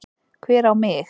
Hver á mig?